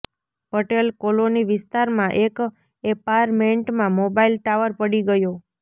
Patel colony વિસ્તારમાં એક એપાર્ટેમેન્ટમાં મોબાઈલ ટાવર પડી ગયો